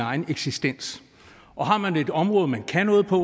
egen eksistens og har man et område man kan noget på